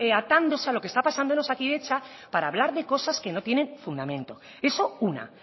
atándose a lo que está pasando en osakidetza para hablar de cosas que no tienen fundamento eso una